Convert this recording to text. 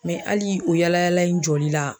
hali o yaala yaala in jɔli la